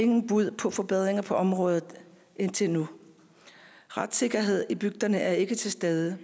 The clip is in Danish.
nogen bud på forbedringer på området indtil nu retssikkerheden i bygderne er ikke til stede